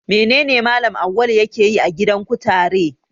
Menene Mallam Awwalu yake yi a gidan kutare?